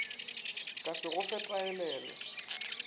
ka se go fe taelele